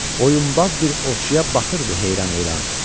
Oyunbaz bir ovçuya baxırdı heyran-heyran.